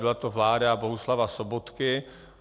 Byla to vláda Bohuslava Sobotky.